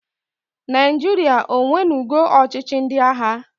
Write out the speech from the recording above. Naịjịrịa onwenugo ọchịchị ndị agha?